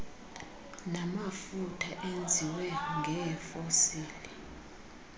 namafutha enziwe ngeefosili